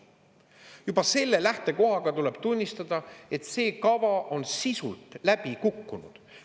Juba selle lähtekohaga tuleb tunnistada, et see kava on sisult läbi kukkunud.